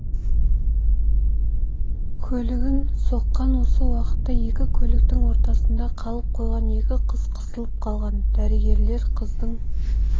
көлігін соққан осы уақытта екі көліктің ортасында қалып қойған екі қыз қысылып қалған дәрігерлер қыздың